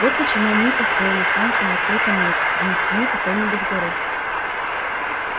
вот почему они и построили станцию на открытом месте а не в тени какой-нибудь горы